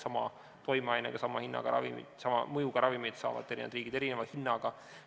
Sama toimeainega, sama hinnaga ja sama mõjuga ravimit saavad eri riigid erineva hinnaga.